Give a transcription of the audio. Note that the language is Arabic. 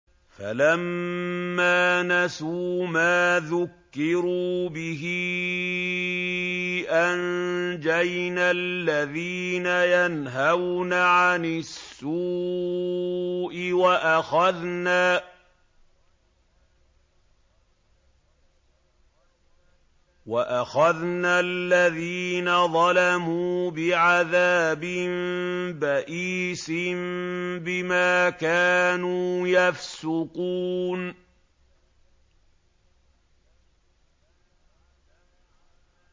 فَلَمَّا نَسُوا مَا ذُكِّرُوا بِهِ أَنجَيْنَا الَّذِينَ يَنْهَوْنَ عَنِ السُّوءِ وَأَخَذْنَا الَّذِينَ ظَلَمُوا بِعَذَابٍ بَئِيسٍ بِمَا كَانُوا يَفْسُقُونَ